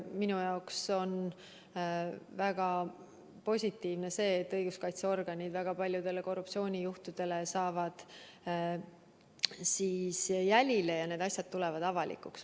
Minu jaoks on väga positiivne see, et õiguskaitseorganid saavad väga paljudele korruptsioonijuhtudele jälile ja need asjad tulevad avalikuks.